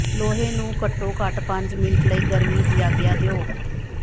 ਲੋਹੇ ਨੂੰ ਘੱਟੋ ਘੱਟ ਪੰਜ ਮਿੰਟ ਲਈ ਗਰਮੀ ਦੀ ਆਗਿਆ ਦਿਓ